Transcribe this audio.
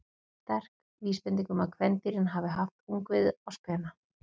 Þetta er sterk vísbending um að kvendýrin hafi haft ungviðið á spena.